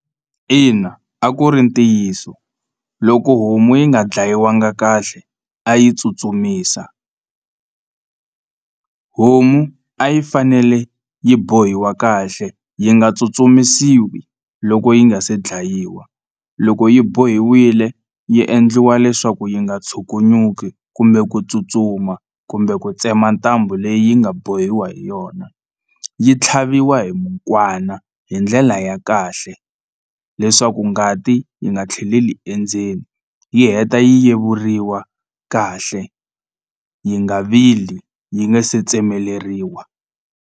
Ina, a ku ri ntiyiso loko homu yi nga ndlayiwanga kahle a yi tsutsumisa homu a yi fanele yi bohiwa kahle yi nga tsutsumisiwi loko yi nga se dlayiwa loko yi bohiwile yi endliwa leswaku yi nga tshukunyuki kumbe ku tsutsuma kumbe ku tsema ntambu leyi nga bohiwa hi yona yi tlhaviwa hi mukwana hi ndlela ya kahle leswaku ngati yi nga tlheleli endzeni yi heta yi yevuriwa kahle yi nga vili yi nga se tsemeleriwa.